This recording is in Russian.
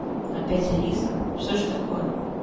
опять алиса что ж такое